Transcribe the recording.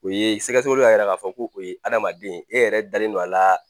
Ɛ sɛgɛsɛgɛli yɛrɛ k'a fɔ ko adamaden e yɛrɛ dalen don a la